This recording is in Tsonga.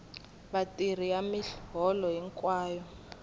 vatirhi ya miholo hinkwayo ya